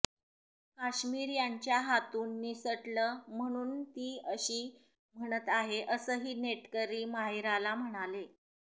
काश्मीर यांच्या हातून निसटलं म्हणूनच ती अशी म्हणत आहे असंही नेटकरी माहिराला म्हणाले